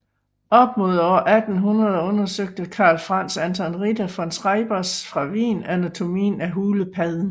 Op mod år 1800 undersøgte Carl Franz Anton Ritter von Schreibers fra Wien anatomien af hulepadden